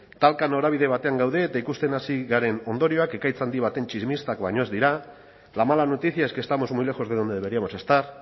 talka norabide batean gaude eta ikusten hasi garen ondorioak ekaitz handi baten tximistak baino ez dira la mala noticia es que estamos muy lejos de donde deberíamos estar